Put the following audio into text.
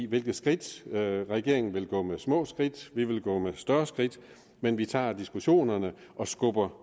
hvilke skridt vi regeringen vil gå med små skridt vi vil gå med større skridt men vi tager diskussionerne og skubber